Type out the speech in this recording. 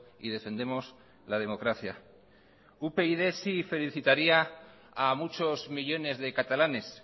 y defendemos la democracia upyd sí felicitaría a muchos millónes de catalanes